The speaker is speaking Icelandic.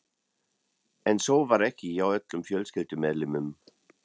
En svo var ekki hjá öllum fjölskyldumeðlimum.